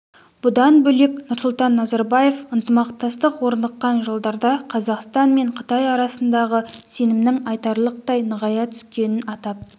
бұдан бөлек нұрсұлтан назарбаев ынтымақтастық орныққан жылдарда қазақстан мен қытай арасындағы сенімнің айтарлықтай нығая түскенін атап